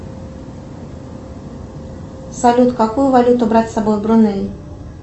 салют какую валюту брать с собой в бруней